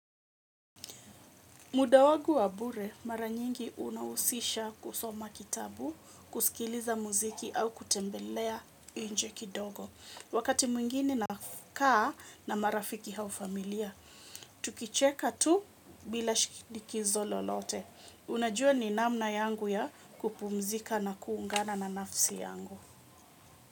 Muda wagu wa bure, mara nyingi unawusisha kusoma kitabu, kusikiliza muziki au kutembelea inje kidogo. Wakati mwingine nakaa na marafiki hau familia, tukicheka tu bila shikidikizo lolote. Unajua ni namna yangu ya kupumzika na kuungana na nafsi yangu.